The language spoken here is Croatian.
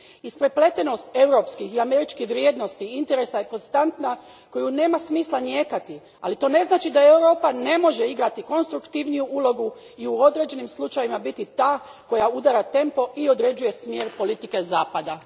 Isprepletenost europskih i američkih vrijednosti i interesa je konstanta koju nema smisla nijekati, ali to ne znači da Europa ne može igrati konstruktivniju ulogu i u određenim slučajevima biti ta koja udara tempo i određuje smjer politike Zapada.